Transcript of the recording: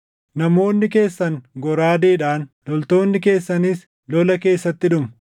Namoonni keessan goraadeedhaan, loltoonni keessanis lola keessatti dhumu.